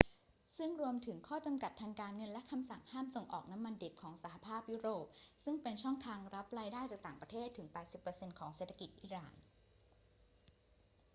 ซึ่งรวมถึงข้อจำกัดทางการเงินและคำสั่งห้ามส่งออกน้ำมันดิบของสหภาพยุโรป ซึ่งเป็นช่องทางรับรายได้จากต่างประเทศถึง 80% ของเศรษฐกิจอิหร่าน